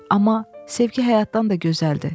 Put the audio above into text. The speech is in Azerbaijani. Amma sevgi həyatdan da gözəldir.